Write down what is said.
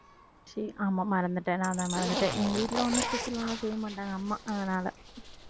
சரி ஆமா மறந்துட்டேன் நான் தான் மறந்துட்டேன் எங்க வீட்டுல ஒண்ணும் special எல்லாம் செய்யமாட்டாங்க அம்மா அதனால